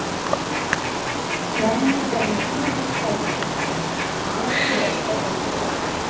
Svenni fer með síðasta strætó, rétt fyrir eitt, heim til Dodda.